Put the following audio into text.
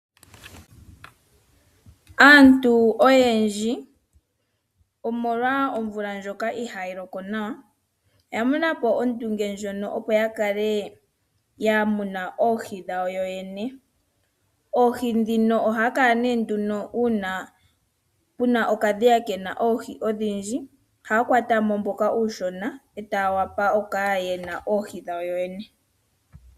Aantu oyendji omolwa omvula ndjoka ihaayi loko nawa oya mona po ondunge ndjono opo ya kale ya muna oohi dhawo yoyene. Oohi ndhino ohaya kala nee nduno uuna puna okadhiya kena oohi odhindji ohaya kwata mo mboka uushona etaya vulu okukala yena oohi dhawo yene.